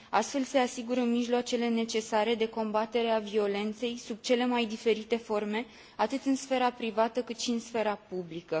Astfel se asigură mijloacele necesare de combatere a violenței sub cele mai diferite forme, atât în sfera privată, cât și în sfera publică.